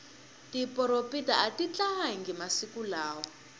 tiporopita atitalangi masiku lawa